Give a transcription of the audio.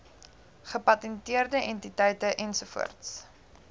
gepatenteerde entiteite ens